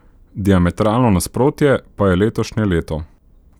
Diametralno nasprotje pa je letošnje leto.